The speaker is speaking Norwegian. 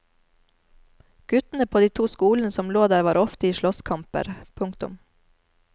Guttene på de to skolene som lå der var ofte i slåsskamper. punktum